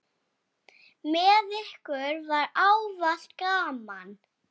Með ykkur var ávallt gaman.